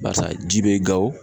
Barisa ji be gawo